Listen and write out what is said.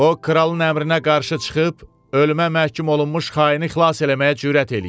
O kralın əmrinə qarşı çıxıb, ölümə məhkum olunmuş xaini xilas eləməyə cürət eləyib.